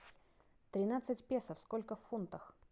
тринадцать песо сколько в фунтах